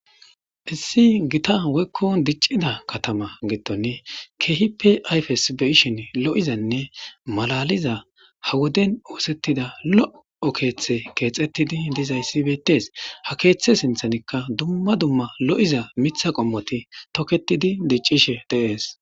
issi gita woykko diccida katama giddon keehipe ayfes be'ishin lo7izanne malaliza ha woden oosettida lo7o keeththe keexettidi dizayssi beyttees ha keeththe sinthanikka dumma dumma lo7iza mitha qommoti toketidi diccishe de'ees